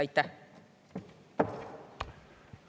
Aitäh!